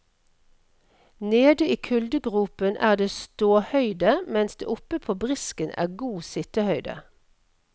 Nede i kuldegropen er det ståhøyde, mens det oppe på brisken er god sittehøyde.